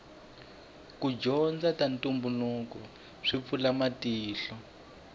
ku dyondza ta ntumbuluko swi pfula matihlo